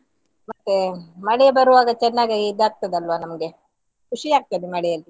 ಮತ್ತೆ ಮಳೆ ಬರುವಾಗ ಚನ್ನಗೆ ಇದು ಆಗ್ತದಲ್ಲ ನಮ್ಗೆ ಕುಷಿ ಆಗ್ತದೆ ಮಳೆಯಲ್ಲಿ.